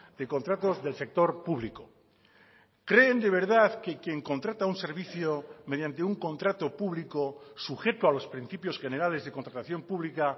de contratos del sector público creen de verdad que quien contrata un servicio mediante un contrato público sujeto a los principios generales de contratación pública